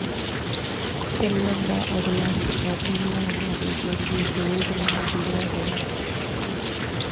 ਚੱਲਣ ਦਾ ਅਗਲਾ ਹਿੱਸਾ ਦੋ ਲਾਈਨਾਂ ਦੇ ਜ਼ਰੀਏ ਬੋਲਟ ਨਾਲ ਜੁੜਿਆ ਹੋਇਆ ਹੈ